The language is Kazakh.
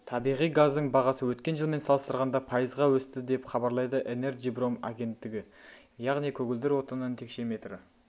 табиғи газдың бағасы өткен жылмен салыстырғанда пайызға өсті деп хабарлайды энерджипром агенттігі яғни көгілдір отынның текшеметрі